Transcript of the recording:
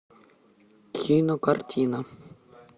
кинокартина